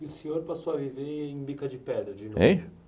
E o senhor passou a viver em Bica de Pedra de novo?